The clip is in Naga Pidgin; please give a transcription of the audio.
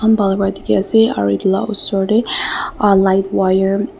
bhal wa dikhi ase aro itula osor tey uh light la wire .